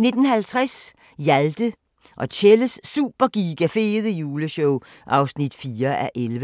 19:50: Hjalte og Tjelles Super Giga Fede Juleshow (4:11)